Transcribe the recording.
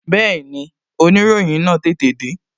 Bẹẹni, oniroyin náà tètè de